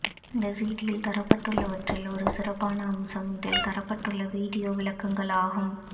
இந்த சிடியில் தரப்பட்டுள்ளவற்றில் ஒரு சிறப்பான அம்சம் இதில் தரப்பட்டுள்ள வீடியோ விளக்கங்களாகும்